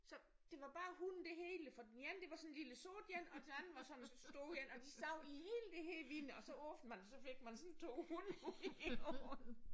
Så det var bare hunde det hele for den ene det var sådan en lille sort en og den anden var sådan en stor en og de sad i hele det her vindue og så åbnede man og så fik man sådan 2 hunde ud i hovedet